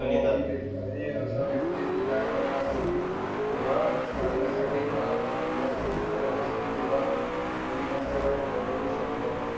आली आहे. आहे अशा वेळी त्याच्याकडे आहे. तुम्ही जेव्हा करण्यासाठी कांद्या ची गरज असते तेव्हा तुम्ही त्यांच्याकडे बघू शकतो.